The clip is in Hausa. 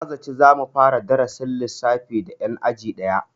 Na zata za mu fara darasin lissafi da 'yan aji daya.